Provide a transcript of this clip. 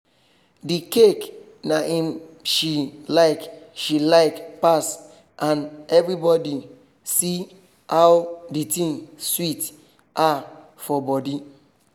the cake na im she like she like pass and everybody see how the thing sweet her for body